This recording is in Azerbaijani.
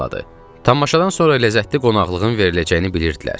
Tamaşadan sonra ləzzətli qonaqlığın veriləcəyini bilirdilər.